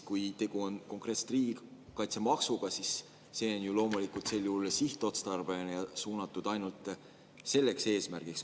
Kui tegu on konkreetselt riigikaitsemaksuga, siis see on ju sel juhul sihtotstarbeline ja suunatud ainult selleks eesmärgiks.